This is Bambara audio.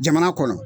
Jamana kɔnɔ